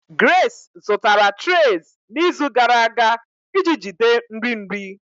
Grace zụtara trays n'izu gara aga iji jide nri nri.